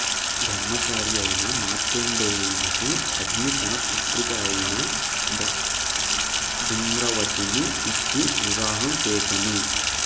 బ్రహ్మచారి అయిన మార్కండేయునకు అగ్ని తన పుత్రిక అయిన దూమ్రావతిని ఇచ్చి వివాహం చేసెను